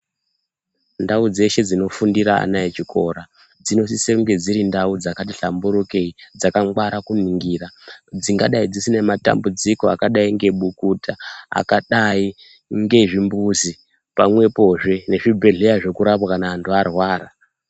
Ndau dzshe dzinofundire ana echikora dzinosise kunge dziri dzkati hlamburukei dzakagwara kuningira dzingadai dzisine madambudziko akadai ngebukuta akadai ngezvimbuzi pamwepozve nezvibhehleya zvekurapa kana vantu varwara